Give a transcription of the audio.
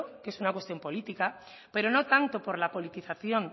que es una cuestión política pero no tanto por la politización